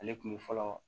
Ale kun bɛ fɔlɔ